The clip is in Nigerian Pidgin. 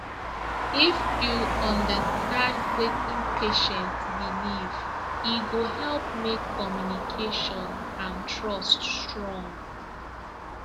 if you understand wetin patient believe e go help make communication and trust strong